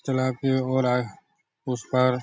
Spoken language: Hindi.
चला के हो रहा है उस पार।